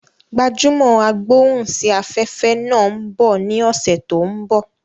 Gbajúmò agbóhùn sí afẹ́fẹ́ náà ń bọ ní ọ̀sẹ̀ tó ń bọ̀